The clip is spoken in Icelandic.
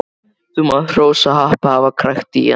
Þú mátt hrósa happi að hafa krækt í hana.